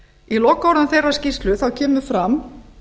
í lokaorðum þeirrar skýrslu kemur fram